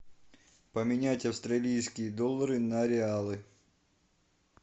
поменять австралийские доллары на реалы